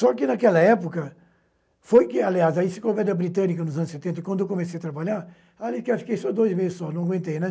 Só que, naquela época, foi que, aliás, se conversa britânica nos anos setenta, quando comecei a trabalhar, ali fiquei só dois meses, só, não aguentei.